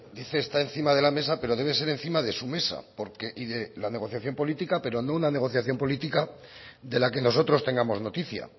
eso está encima de la mesa pero debe ser encima de su mesa porque de la negociación política pero no una negociación política de la que nosotros tengamos noticia